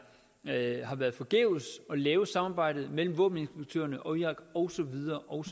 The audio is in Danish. havde været forgæves at lave et samarbejde mellem våbeninspektørerne og irak og så videre og